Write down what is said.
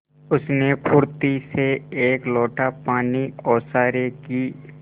उसने फुर्ती से एक लोटा पानी ओसारे की